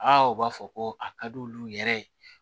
Aa u b'a fɔ ko a ka di olu yɛrɛ ye